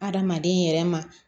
Hadamaden yɛrɛ ma